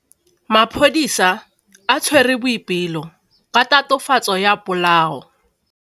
Maphodisa a tshwere Boipelo ka tatofatsô ya polaô.